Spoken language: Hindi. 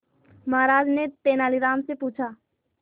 महाराज ने तेनालीराम से पूछा